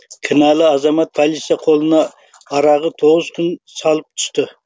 кінәлі азамат полиция қолына арағы тоғыз күн салып түсті